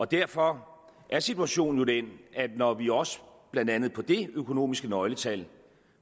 derfor er situationen den at når vi også blandt andet på dét økonomiske nøgletal